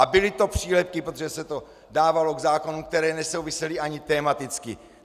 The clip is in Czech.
A byly to přílepky, protože se to dávalo k zákonům, které nesouvisely ani tematicky.